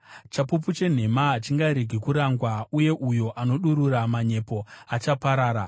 Chapupu chenhema hachingaregi kurangwa, uye uyo anodurura manyepo achaparara.